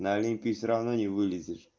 на олимпе всё равно не вылезешь